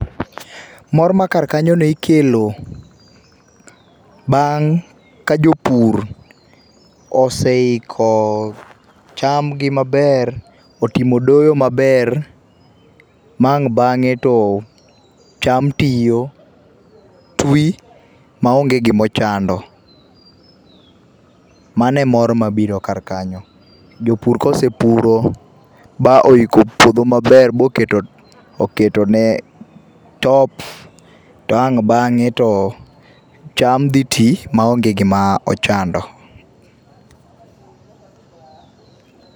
Mor ma kar kanyono ikelo bang' ka jopur oseiko chamgi maber, otimo doyo maber ma ang' bang'e to cham tiyo, twi maonge gima ochando. Mano e mor mabiro kar kanyo. Jopur kosepuro moiko puodho maber moketo moketone top to ang' bang'e to cham dhi nti maonge gima ochando.